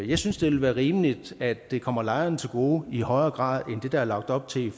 jeg synes det vil være rimeligt at det kommer lejerne til gode i højere grad end det der er lagt op til